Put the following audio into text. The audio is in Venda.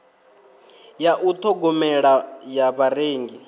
ya u ṱhogomela ya vharengi